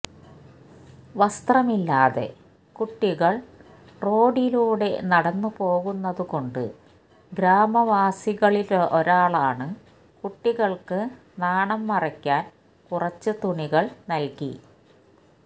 വസ്ത്രമില്ലാതെ കുട്ടികള് റോഡിലൂടെ നടന്നുപോകുന്നതുകൊണ്ട് ഗ്രാമവാസികളിലൊരാളാണു കുട്ടികള്ക്ക് നാണം മറയ്ക്കാന് കുറച്ചു തുണികള് നല്കി